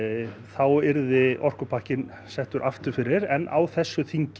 þá yrði orkupakkinn settur aftur fyrir en á þessu þingi